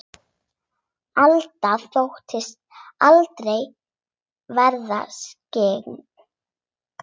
Alda þóttist aldrei vera skyggn.